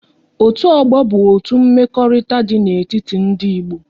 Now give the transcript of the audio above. Otu ọgbọ bụ otu mmekọrịta dị n'etiti ndị Igbo